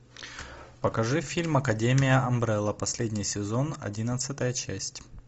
покажи фильм академия амбрелла последний сезон одиннадцатая часть